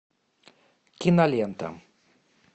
кинолента